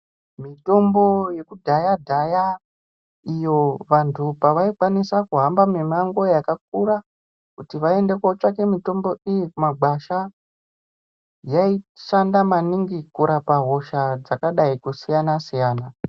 Mitombo yekudhaya dhaya iyo vantu pavaikwanisa kuhamba mimango yakakura kuti vaende kotsvake mitombo iyi kumagwasha yaishanda maningi kurapa hosha dzakadai kusiyana siyana.